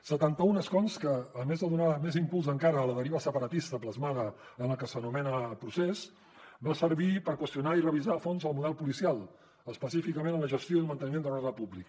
setanta un escons que a més de donar més impuls encara a la deriva separatista plasmada en el que s’anomena procés van servir per qüestionar i revisar a fons el model policial específicament en la gestió i manteniment de l’ordre públic